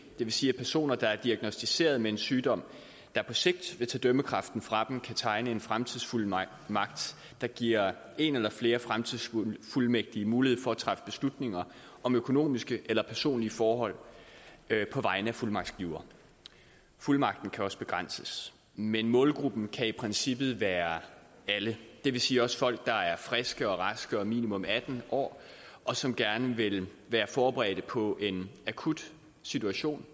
det vil sige at personer der er diagnosticeret med en sygdom der på sigt vil tage dømmekraften fra dem kan tegne en fremtidsfuldmagt der giver en eller flere fremtidsfuldmægtige mulighed for at træffe beslutninger om økonomiske eller personlige forhold på vegne af fuldmagtsgiver fuldmagten kan også begrænses men målgruppen kan i princippet være alle det vil sige også folk der er friske og raske og minimum atten år og som gerne vil være forberedt på en akut situation